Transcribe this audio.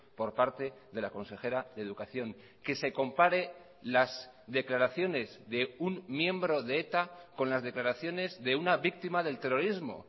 por parte de la consejera de educación que se compare las declaraciones de un miembro de eta con las declaraciones de una víctima del terrorismo